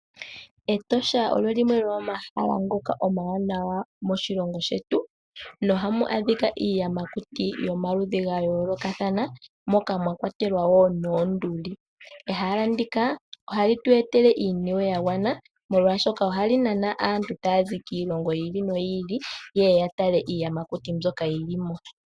Etosha olyo limwe lyomomahala ngoka omawanawa moshilongo shetu, na oha mu adhika iiyamakuti yomaludhi ga yoolokathana moka mwa kwatelwa oonduli. Ehala ndika ohali tu etele iiniwe ya gwana molwaashoka ohali nana aantu taya zi kiilongo yi ili noyi ili yeye ya tale iiyamakuti mbyoka yili mo.